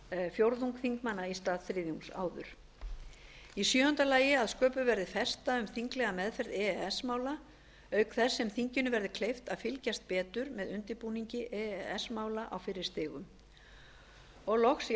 fjórðung þingmanna í stað þriðjungs áður sjöunda að sköpuð verði festa um þinglega meðferð e e s mála auk þess sem þinginu verði gert kleift að fylgjast betur með undirbúningi e e s mála á fyrri stigum